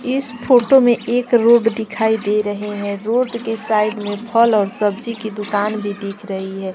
इस फोटो में एक रोड दिखाई दे रहे हैं रोड के साइड में फल और सब्जी की दुकान भी दिख रही है।